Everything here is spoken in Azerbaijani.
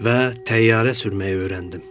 Və təyyarə sürməyi öyrəndim.